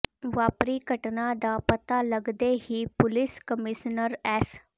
ਵਾਪਰੀ ਘਟਨਾ ਦਾ ਪਤਾ ਲਗਦੇ ਹੀ ਪੁਲਿਸ ਕਮਿਸ਼ਨਰ ਐਸ